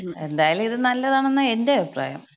എന്തായാലും ഇത് നല്ലതാണെന്നാ എന്‍റെ അഭിപ്രായം.